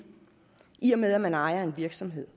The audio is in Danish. i og med at man ejer en virksomhed